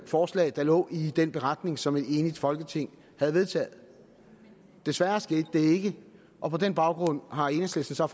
forslag der lå i den beretning som et enigt folketing havde vedtaget desværre skete det ikke og på den baggrund har enhedslisten så